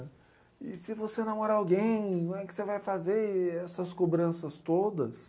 E se você namora alguém, como é que você vai fazer essas cobranças todas?